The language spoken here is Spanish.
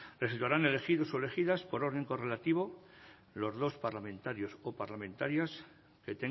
resultarán elegidos o elegidas por orden correlativo los dos parlamentarios o parlamentarias que